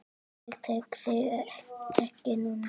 Ég tek þig ekki núna.